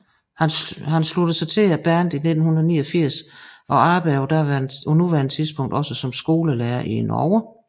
Han sluttede sig til bandet i 1989 og arbejder på nuværende tidspunkt også som skolelærer i Norge